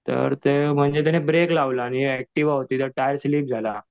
तर ते त्याने म्हणजे ब्रेक लावला आणि ऍक्टिव्हा होती त्याचा टायर स्लिप झाला.